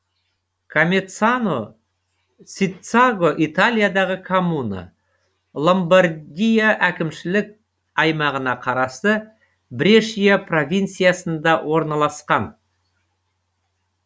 комеццано циццаго италиядағы коммуна ломбардия әкімшілік аймағына қарасты брешия провинциясында орналасқан